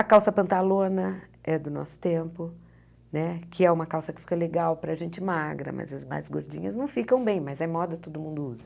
A calça pantalona é do nosso tempo, né que é uma calça que fica legal para a gente magra, mas as mais gordinhas não ficam bem, mas é moda, todo mundo usa.